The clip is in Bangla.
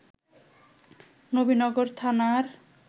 নবীনগর থানার